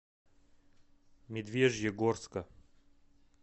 медвежьегорска